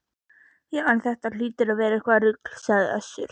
Já, en þetta hlýtur að vera eitthvert rugl, sagði Össur